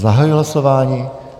Zahajuji hlasování.